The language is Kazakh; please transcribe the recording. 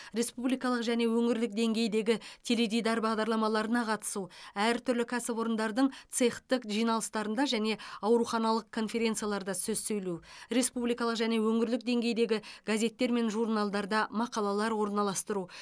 республикалық және өңірлік деңгейдегі теледидар бағдарламаларына қатысу әртүрлі кәсіпорындардың цехтік жиналыстарында және ауруханалық конференцияларда сөз сөйлеу республикалық және өңірлік деңгейдегі газеттер мен журналдарда мақалалар орналастыру